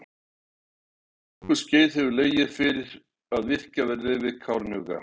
Um nokkurt skeið hefur legið fyrir að virkjað verði við Kárahnjúka.